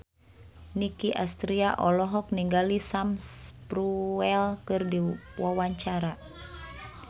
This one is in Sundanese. Nicky Astria olohok ningali Sam Spruell keur diwawancara